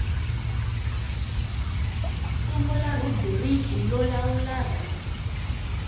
sungula rhubiriki yo lawula res